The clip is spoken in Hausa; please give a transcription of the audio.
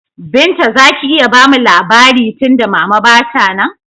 Binta zaki iya bamu labari tunda mama ba ta nan?